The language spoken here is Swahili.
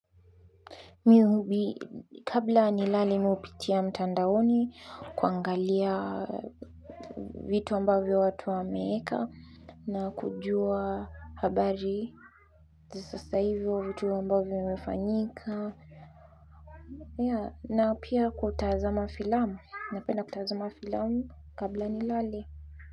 Kabla nilale mi hupitia mtandaoni kuangalia vitu ambavyo watu wameeka na kujua habari sasa hivo vitu ambavyo vimefanyika na pia kutaza filamu, napenda kutazama filamu labla nilale.